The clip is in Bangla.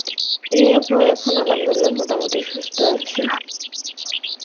এই আপু এখন Arbi মোটা মুটি সুস্থ আছি